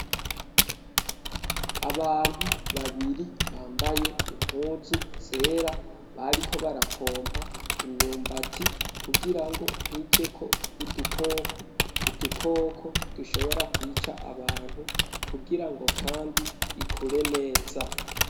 Abantu babiri bambaye impuzu zera, bariko barapompa imyumbati, kugira ngo ntijeko udukoko, udukoko dushobora kwica abantu, kugira ngo kandi ikure neza.